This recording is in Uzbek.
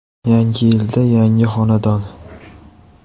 Yangi yilda yangi xonadon!